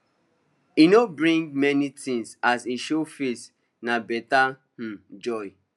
e no bring many thingsas him show face na better um joy